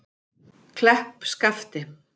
Kleppskafti